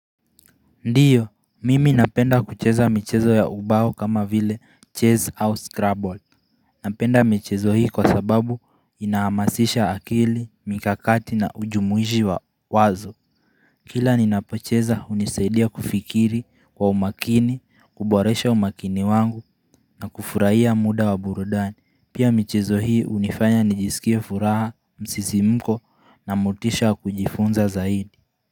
Ndiyo, mimi napenda kucheza michezo ya ubao kama vile Chase House Scrabble Napenda michezo hii kwa sababu inahamasisha akili, mikakati na ujumuishi wa wazo Kila ninapocheza unisaidia kufikiri kwa umakini, kuboresha umakini wangu na kufurahia muda wa burudani Pia michezo hii unifanya nijisikia furaha, msisimko na mutisha kujifunza zaidi.